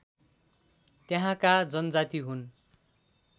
त्यहाँका जनजाति हुन्